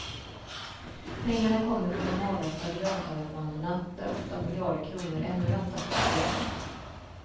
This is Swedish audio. Pengarna kommer från de avvecklade löntagarfonderna där åtta miljarder kronor ännu väntar på fördelning.